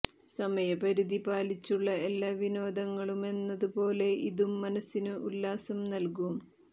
സമയപരിധി പാലിച്ചുള്ള എല്ലാ വിനോദങ്ങളുമെന്നതു പോലെ ഇതും മനസ്സിന് ഉല്ലാസം നൽകും